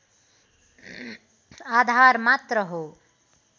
आधार मात्र हो